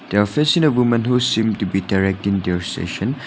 they are facing a women who is seem to be directing their session.